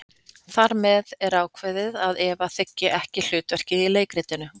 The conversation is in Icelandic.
Þar með er ákveðið að Eva þiggi ekki hlutverk í leikritinu.